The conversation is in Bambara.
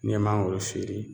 N'i ye mangoro feere